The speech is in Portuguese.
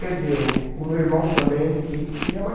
Quer dizer, o meu irmão também, que porque minha mãe...